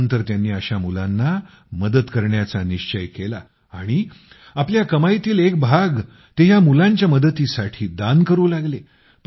त्यानंतर त्यांनी अशा मुलांना मदत करण्याचा निश्चय केला आणि आपल्या कमाईतील एक भाग ते या मुलांच्या मदतीसाठी दान करू लागले